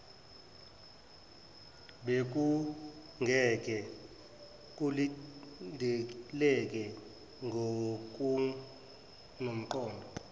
bekungeke kulindeleke ngokunomqondo